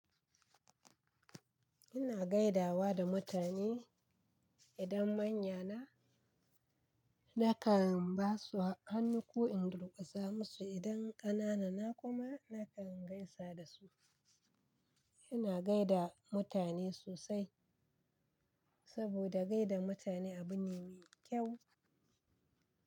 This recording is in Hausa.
Ina gaidawa da mutane idan manyana nakan basu hannu ko in durkusa musu idan ƙanana na kuma nakan gaisa dasu. Ina gaida mutane sosai saboda gaida mutane abu ne mai kyau.